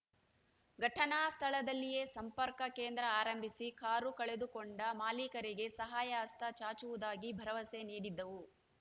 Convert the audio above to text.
ಘಟನಾ ಸ್ಥಳದಲ್ಲಿಯೇ ಸಂಪರ್ಕ ಕೇಂದ್ರ ಆರಂಭಿಸಿ ಕಾರು ಕಳೆದುಕೊಂಡ ಮಾಲಿಕರಿಗೆ ಸಹಾಯ ಹಸ್ತ ಚಾಚುವುದಾಗಿ ಭರವಸೆ ನೀಡಿದ್ದವು